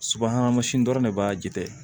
Subahana mansin dɔrɔn de b'a jitɛ